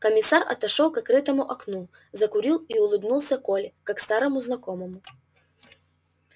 комиссар отошёл к открытому окну закурил и улыбнулся коле как старому знакомому